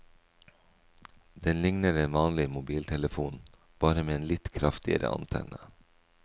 Den ligner en vanlig mobiltelefon, bare med en litt kraftigere antenne.